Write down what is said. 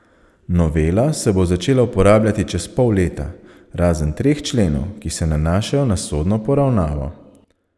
Novela se bo začela uporabljati čez pol leta, razen treh členov, ki se nanašajo na sodno poravnavo.